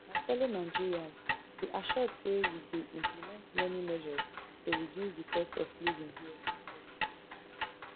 my fellow nigerians be assured say we dey implement many measures to reduce di cost of living here at home